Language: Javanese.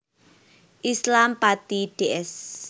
Islam Pati Ds